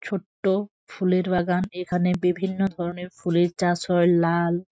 ছোট্ট ফুলের বাগান এখানে বিভিন্ন ধরণের ফুলের চাষ হয় লাল--